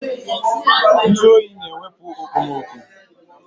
Ntụ oyi na-ewepu okpomoọkụ